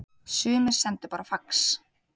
Sumir sendu bara fax